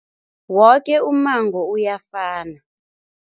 Woke ummango uyafana.